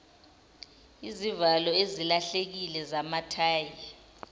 izivalo ezilahlekile zamathayi